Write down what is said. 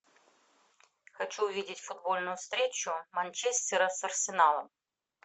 хочу увидеть футбольную встречу манчестера с арсеналом